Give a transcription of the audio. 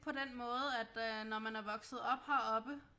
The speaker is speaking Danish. På den måde at øh når man er vokset op heroppe